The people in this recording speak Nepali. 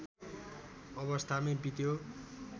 अवस्थामै बित्यो।